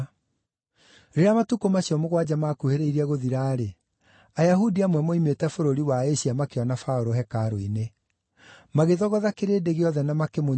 Rĩrĩa matukũ macio mũgwanja maakuhĩrĩirie gũthira-rĩ, Ayahudi amwe moimĩte bũrũri wa Asia makĩona Paũlũ hekarũ-inĩ. Magĩthogotha kĩrĩndĩ gĩothe na makĩmũnyiita,